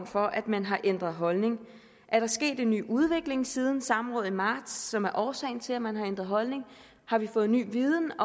for at man har ændret holdning er der sket en ny udvikling siden samrådet i marts som er årsagen til at man har ændret holdning har vi fået ny viden